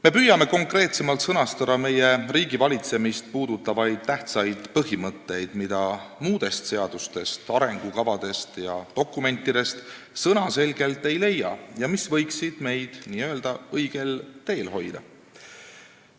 Me püüame konkreetsemalt sõnastada meie riigivalitsemist puudutavaid tähtsaid põhimõtteid, mida muudest seadustest, arengukavadest ja dokumentidest sõnaselgelt ei leia ja mis võiksid meid n-ö õigel teel hoida.